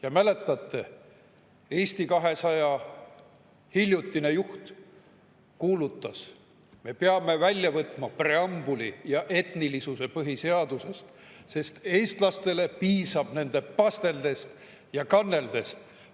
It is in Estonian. Kas mäletate, kui Eesti 200 hiljutine juht kuulutas, et me peame põhiseadusest välja võtma preambuli ja etnilisuse, sest eestlastele piisab nende pasteldest ja kanneldest?